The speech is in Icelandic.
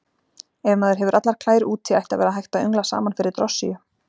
Ef maður hefur allar klær úti ætti að vera hægt að öngla saman fyrir drossíu.